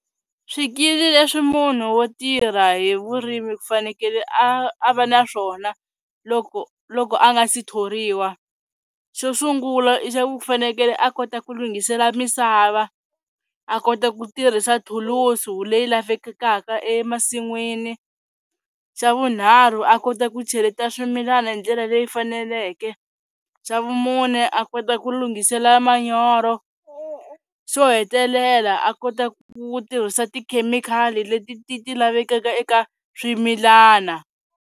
Swikili leswi munhu wo tirha hi vurimi ku fanekele a a va naswona loko loko a nga si thoriwa xo sungula i xa ku u fanekele a kota ku lunghisela misava, a kota ku tirhisa thulusu leyi lavekaka emasin'wini, xa vunharhu a kota ku cheleta swimilana hi ndlela leyi faneleke, xa vumune a kota ku lunghisela manyoro, xo hetelela a kota ku tirhisa tikhemikhali leti ti ti lavekaka eka swimilana.